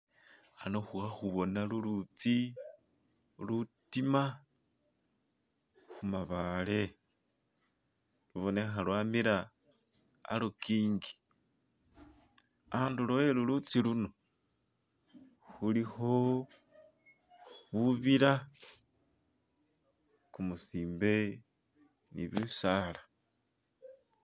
ano khuli khakhuboona lulutsi lutima khumabaale lubonekha lwamila alukingi anduulo e'lulutsi luno khulikho bubiila kumusimbe ni bisaala.